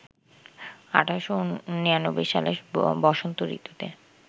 ১৮৯৯ সালের বসন্ত ঋতুতে